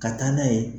Ka taa n'a ye